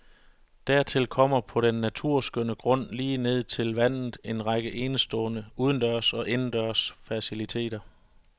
Dertil kommer på den naturskønne grund lige ned til vandet en række enestående udendørs og indendørs faciliteter.